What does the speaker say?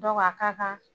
Dɔ a ka kan